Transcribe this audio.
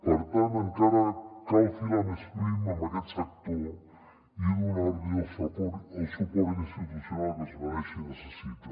per tant encara cal filar més prim en aquest sector i donar li el suport institucional que es mereix i necessita